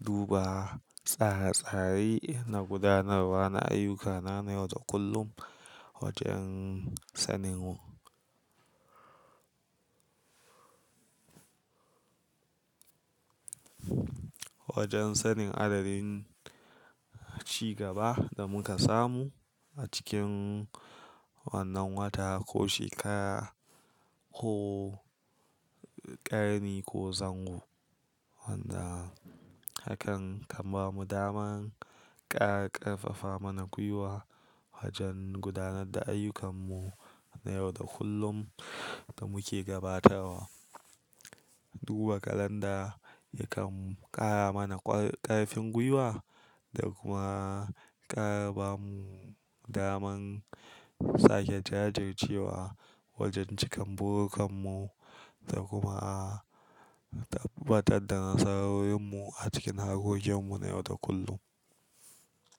duba tsare-tsare na gudanarwa na ayyukana na yau da kullum wajen sanin, wajen sanin adadin ci gaba da muka samu a cikin wannan wata ko shekara ko ƙarni ko zango wanda hakan kan bamu daman ƙara ƙarfafa mana gwiwa wajen gudanar da ayyukanmu na yau da kullum da muke gabatawa. Duba calendar yakan ƙara mana ƙarfin gwiwa da kuma ƙara bamu daman sake jajircewa wajen cikar burkanmu da kuma tabbatar da nasarorinmu a cikin harkokinmu na yau da kullum.